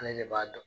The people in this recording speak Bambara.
Ale de b'a dɔn